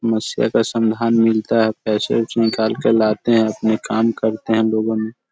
समस्या का समाधान मिलता है। पैसे वैसे निकाल के लाते है। अपने काम करते है लोगों ने --